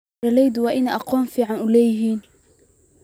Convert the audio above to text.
Beeraleydu waa inay aqoon fiican leeyihiin.